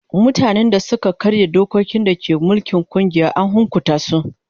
Mutanen da suka karya dokokin da ke mulkin kungiya an hukunta su.